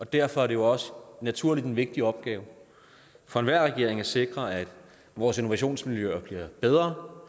derfor er det også naturligt en vigtig opgave for enhver regering at sikre at vores innovationsmiljøer bliver bedre